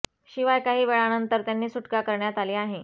शिवाय काही वेळानंतर त्यांनी सुटका करण्यात आली आहे